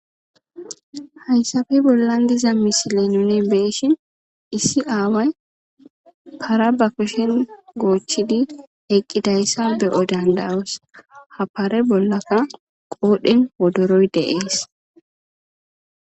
Hayssafe bollan diza misile nune beeshin issi aaway para ba koshen goochidi eqqidayssa be'o dandawos ha paare bollaka qoodhen wodoroy deees.